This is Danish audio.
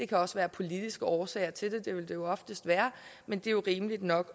kan også være politiske årsager til det og det vil der jo oftest være men det er rimeligt nok